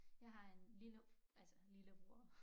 Jeg har en lille altså lillebror